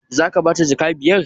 Zaka bata jaka biyar?